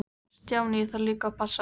Stjáni, ég þarf líka að passa.